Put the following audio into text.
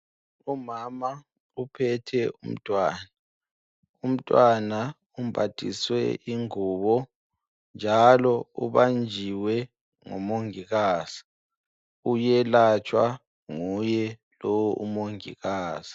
Umama uphethe umntwana, umntwana umbathiswe ingubo njalo ubanjiwe ngumongikazi, uyelatshwa nguye lo umongikazi.